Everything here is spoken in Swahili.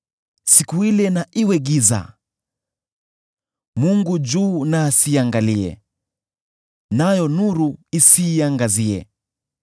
Siku ile na iwe giza; Mungu juu na asiiangalie; nayo nuru isiiangazie.